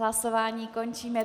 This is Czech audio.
Hlasování končím.